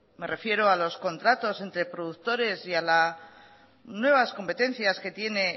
me refiero a los contratos entre productores y a las nuevas competencias que tienen